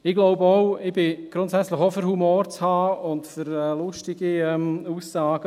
Ich bin grundsätzlich auch dafür, Humor zu haben und für lustige Aussagen.